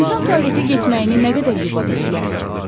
İnsan tualetə getməyini nə qədər yubada bilər ki?